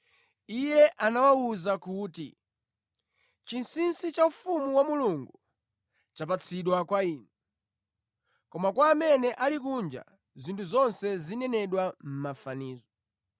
Iye anawawuza kuti, “Chinsinsi cha ufumu wa Mulungu chapatsidwa kwa inu. Koma kwa amene ali kunja zinthu zonse zinenedwa mʼmafanizo: